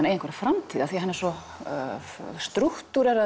eigi einhverja framtíð af því að hann er svo